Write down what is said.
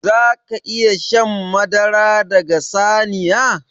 Zaka iƴa shan madara daga saniya?